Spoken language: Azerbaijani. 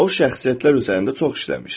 O şəxsiyyətlər üzərində çox işləmişdi.